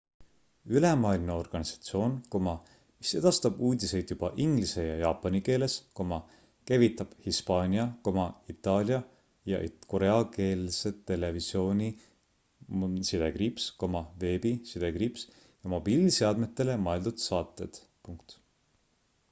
ülemaailmne organisatsioon mis edastab uudiseid juba inglise ja jaapani keeles käivitab hispaania itaalia ja koreakeelsed televisiooni- veebi- ja mobiilseadmetele mõeldud saated